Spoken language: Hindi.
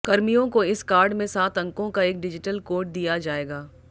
कर्मियों को इस कार्ड में सात अंकों का एक डिजिटल कोड दिया जाएगा